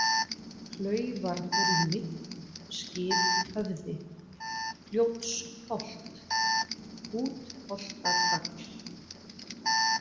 Klaufarhólmi, Skiphöfði, Fljótsholt, Útholtatagl